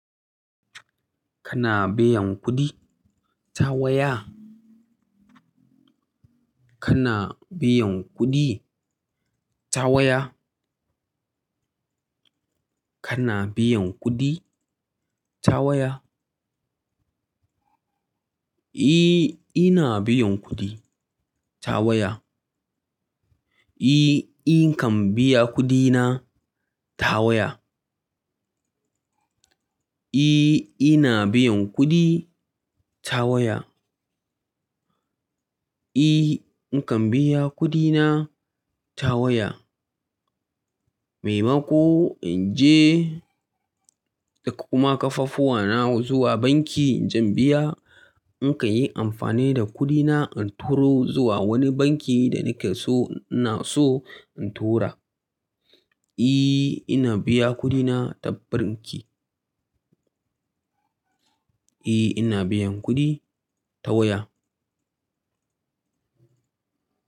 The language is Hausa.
Kana biyan kuɗi ta waya? Kana biyan kuɗi ta waya? Kana biyan kuɗi ta waya? Eh, ina biyan kuɗi ta waya. Eh, inkan biya kuɗina ta waya. Eh, ina biyan kuɗi ta waya. Eh, nakan biya kuɗina ta waya. Mai mako in je da kuma ƙafafuwana zuwa banki inje in biya, in kan yi amfani da kuɗina in turo zuwa wani banki da nake so ina so in tura. Eh, ina biya kuɗina ta banki. Eh, ina biyan kuɗi ta waya.